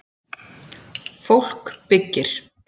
Fólk byggir.